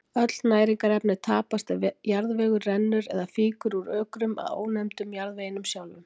Öll næringarefni tapast ef jarðvegur rennur eða fýkur úr ökrum, að ónefndum jarðveginum sjálfum.